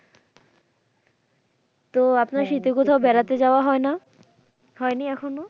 তো আপনার শীতে কোথাও বেড়াতে যাওয়া হয় না? হয়নি এখনো?